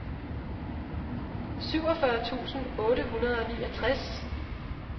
syvogfyrre tusind otte hundrede og niogtres